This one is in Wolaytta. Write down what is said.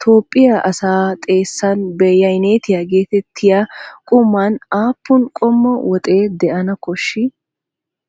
Toophphiya asaa xeessan beyyaynetiya geetettiya quman aappun qommo woxee de'ana koshshii?